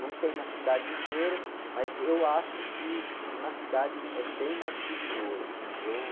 Não tem na cidade inteira, mas eu acho que na cidade é bem mais perigoso.